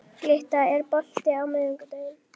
Glytta, er bolti á miðvikudaginn?